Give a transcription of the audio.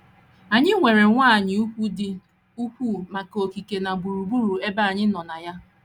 Anyị nwere nkwanye ùgwù dị ukwuu maka okike na gburugburu ebe anyị nọ na ya.